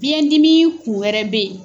Biɲɛ dimi kun wɛrɛ bɛ yen.